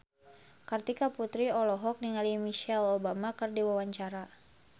Kartika Putri olohok ningali Michelle Obama keur diwawancara